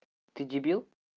ты дебил